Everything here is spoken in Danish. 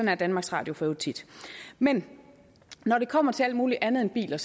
er danmarks radio for øvrigt tit men når det kommer til alt muligt andet end biler